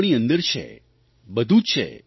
આપણી અંદર છે બધું જ છે